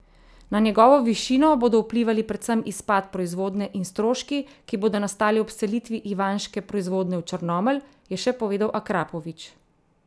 Na njegovo višino bodo vplivali predvsem izpad proizvodnje in stroški, ki bodo nastali ob selitvi ivanške proizvodnje v Črnomelj, je še povedal Akrapovič.